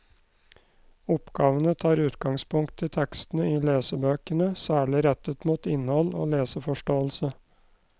Oppgavene tar utgangspunkt i tekstene i lesebøkene, særlig rettet mot innhold og leseforståelse.